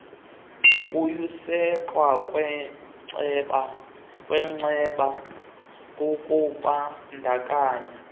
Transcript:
yokusekwa kwecma kukubandakanya